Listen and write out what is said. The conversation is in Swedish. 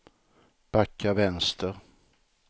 backa vänster